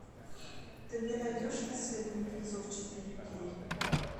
ты мне найдешь рассвет мертвецов четыре кей